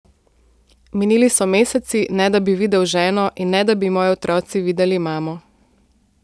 Minili so meseci, ne da bi videl ženo in ne da bi moji otroci videli mamo.